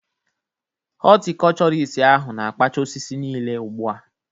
Hotikochorist ahu na-kpacha osisi niile ugbu a